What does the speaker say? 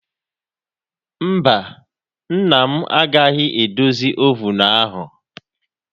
Mba, nna m agaghị edozi ovunu ahụ.